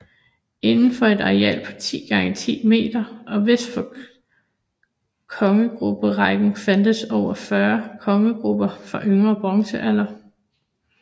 Inden for et areal på 10 x 10 m og vest for kogegruberækken fandtes over 40 kogegruber fra yngre bronzealder